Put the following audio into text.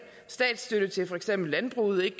statsstøtte til for eksempel landbruget ikke